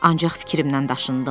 Ancaq fikrimdən daşındım.